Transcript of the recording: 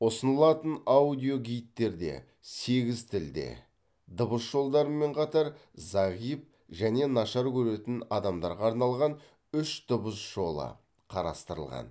ұсынылатын аудиогидтерде сегіз тілде дыбыс жолдарымен қатар зағип және нашар көретін адамдарға арналған үш дыбыс жолы қарастырылған